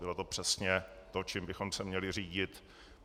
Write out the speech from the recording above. Bylo to přesně to, čím bychom se měli řídit.